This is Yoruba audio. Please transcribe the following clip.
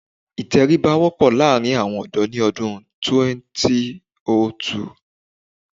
Ìtẹríba wọ́pọ̀ láàrín àwọn ọ̀dọ́ ni ọdún 2002